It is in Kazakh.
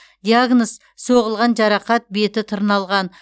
диагноз соғылған жарақат беті тырналған